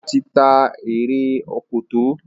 Ola tí tá Eré Òkòtó.